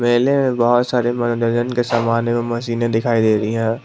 बहुत सारे मनोरंजन के समान एवं मशीने दिखाई दे रही है।